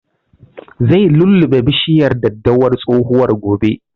Zai lulluɓe bishiyar daddawar tsohuwan gobe